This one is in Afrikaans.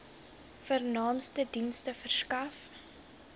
vernaamste dienste verskaf